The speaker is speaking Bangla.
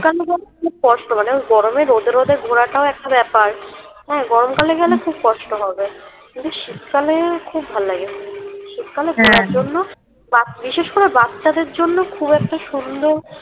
খুব কষ্ট মানে ওই গরমে রোদে রোদে ঘোরাটাও একটা বেপার হ্যাঁ গরমকালে গেলে খুব কষ্ট হবে কিন্তু শীতকালে খুব ভালো লাগে শীতকালে ঘোড়ার জন্য বিশেষ করে বাচ্চাদের জন্য খুব একটা সুন্দর